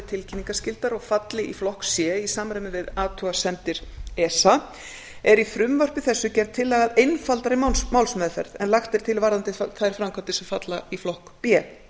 tilkynningarskyldar og falli í flokk c í samræmi við athugasemdir esa er í frumvarpi þessu gerð tillaga að einfaldari málsmeðferð en lagt er til varðandi þær framkvæmdir sem falla í flokk b